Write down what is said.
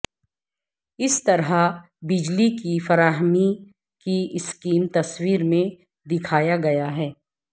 اس طرح بجلی کی فراہمی کی اسکیم تصویر میں دکھایا گیا ہے